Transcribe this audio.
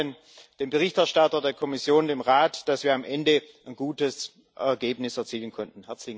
Ich danke allen, dem Berichterstatter, der Kommission, dem Rat, dass wir am Ende ein gutes Ergebnis erzielen konnten.